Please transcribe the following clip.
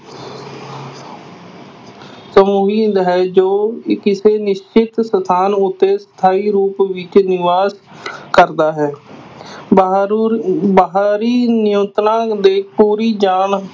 ਹੈ ਜੋ ਕਿਸੇ ਨਿਸ਼ਚਿਤ ਸਥਾਨ ਉੱਤੇ ਸਥਾਈ ਰੂਪ ਵਿੱਚ ਨਿਵਾਸ ਕਰਦਾ ਹੈ ਬਾਹਰੀ ਨਿਯੰਤਰਣ ਦੇ